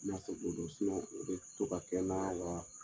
In'a fɔ don dɔ, o bɛ to ka kɛ n na, wa